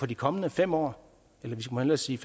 de kommende fem år eller vi må hellere sige